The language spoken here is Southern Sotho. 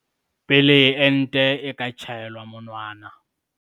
pele ente e ka tjhaelwa monwana.